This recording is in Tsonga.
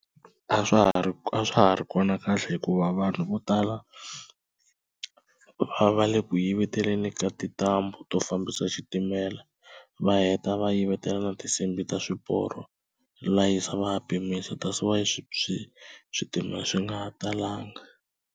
A swa ha ri a swa ha ri kona kahle hikuva vanhu vo tala va le ku yiveteleni ka tintambu to fambisa xitimela, va heta va yivetela na tinsimbhi ta swiporo va layicha va ya pimisa that is why swi swi switimela swi nga ha talanga.